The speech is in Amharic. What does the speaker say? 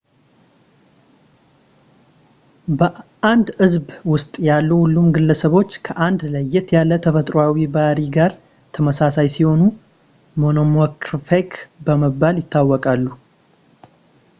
በአንድ ሕዝብ ውስጥ ያሉ ሁሉም ግለሰቦች ከአንድ ለየት ያለ ተፈጥሮአዊ ባሕሪ ጋር ተመሳሳይ ሲሆኑ ሞኖሞርፊክ በመባል ይታወቃሉ